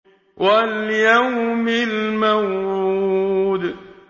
وَالْيَوْمِ الْمَوْعُودِ